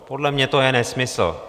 Podle mě to je nesmysl.